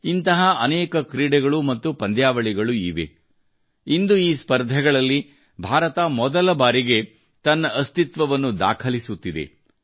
ಇಂತಹ ಅನೇಕ ಕ್ರೀಡೆಗಳು ಮತ್ತು ಪಂದ್ಯಾವಳಿಗಳು ಇವೆ ಇಂದು ಈ ಸ್ಪರ್ಧೆಗಳಲ್ಲಿ ಭಾರತ ಮೊದಲಬಾರಿಗೆ ತನ್ನ ಅಸ್ತಿತ್ವವನ್ನು ದಾಖಲಿಸುತ್ತಿದೆ